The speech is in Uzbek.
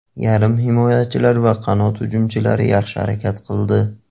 Yarim himoyachilar va qanot hujumchilari yaxshi harakat qildi.